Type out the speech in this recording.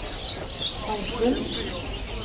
halvfull